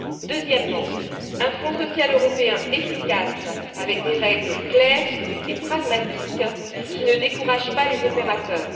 Deuxièmement, un Fonds social européen efficace avec des règles claires et pragmatiques qui ne décourage pas les opérateurs.